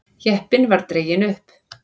Jeppinn var dreginn upp.